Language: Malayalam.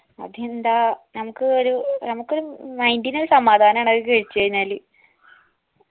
അതെന്താ നമുക്ക് ഒരു നമുക്കൊരു mind ന് ഒരു സമാധാനാണ് അത് കഴിച്ചഴിഞ്ഞാല്